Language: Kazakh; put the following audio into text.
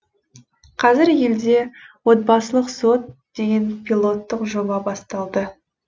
қазір елде отбасылық сот деген пилоттық жоба басталды